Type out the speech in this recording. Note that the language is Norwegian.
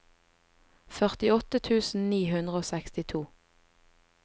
førtiåtte tusen ni hundre og sekstito